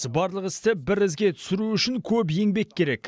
барлық істі бір ізге түсіру үшін көп еңбек керек